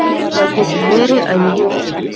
Það getur verið að ég viti.